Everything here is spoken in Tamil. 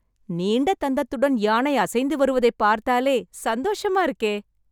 நீண்ட தந்தத்துடன் யானை அசைந்து வருவதைப் பார்த்தாலே சந்தோஷமா இருக்கே...